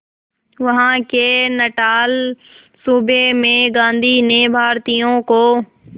वहां के नटाल सूबे में गांधी ने भारतीयों को